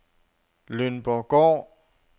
Lønborggård